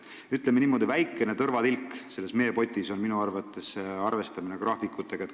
Ütleme niimoodi, et väike tõrvatilk selles meepotis on minu arvates sõiduplaani korraldamine.